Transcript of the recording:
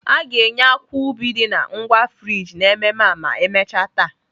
A ga-enye akwa ubi dị na ngwa frijị n'ememme a ma emechaa taa.